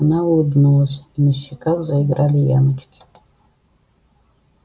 она улыбнулась и на щеках заиграли ямочки